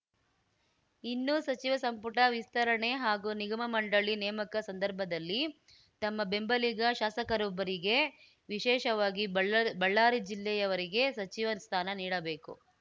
ಇನ್ನು ಸಚಿವ ಸಂಪುಟ ವಿಸ್ತರಣೆ ಹಾಗೂ ನಿಗಮ ಮಂಡಳಿ ನೇಮಕ ಸಂದರ್ಭದಲ್ಲಿ ತಮ್ಮ ಬೆಂಬಲಿಗ ಶಾಸಕರೊಬ್ಬರಿಗೆ ವಿಶೇಷವಾಗಿ ಬಳ್ಳ್ ಬಳ್ಳಾರಿ ಜಿಲ್ಲೆಯವರಿಗೆ ಸಚಿವ ಸ್ಥಾನ ನೀಡಬೇಕು